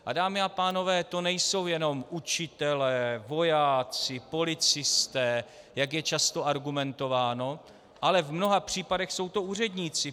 A dámy a pánové, to nejsou jenom učitelé, vojáci, policisté, jak je často argumentováno, ale v mnoha případech jsou to úředníci.